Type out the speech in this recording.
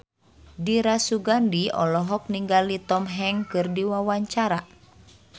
Dira Sugandi olohok ningali Tom Hanks keur diwawancara